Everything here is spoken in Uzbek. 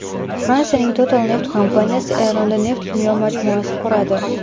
Fransiyaning Total neft kompaniyasi Eronda neft-kimyo majmuasi quradi.